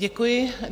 Děkuji.